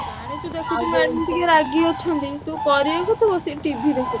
ଜାଣିଛୁ ଦେଖୁଛୁ madam ଟିକେ ରାଗି ଅଛନ୍ତି ତୁ କରିଆକୁ ତୁ ବସି TV ଦେଖୁଛୁ।